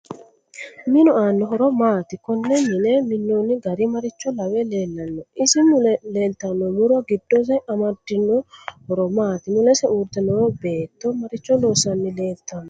Minu aano horo maati konne mine minooni gari maricho lawe leelanno isi mule leelttano muro giddose amadino horo maati mulesi uurite noo beeto maricho loosanni leelttanno